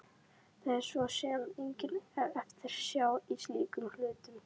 Það er svo sem engin eftirsjá í slíkum hlutum.